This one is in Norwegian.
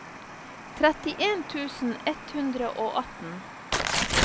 trettien tusen ett hundre og atten